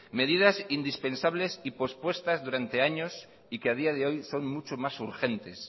medidas indispensables y pospuestas durante años y que a día de hoy son mucho más urgentes